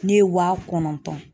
Ne ye wa kɔnɔntɔn